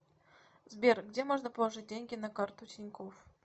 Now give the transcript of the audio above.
сбер где можно положить деньги на карту тинькофф